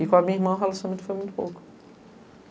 E com a minha irmã o relacionamento foi muito pouco.